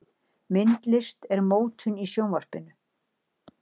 Myndlist og mótun í Sjónvarpinu